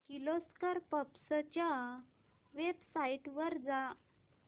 Kirloskar pumps च्या website वर जा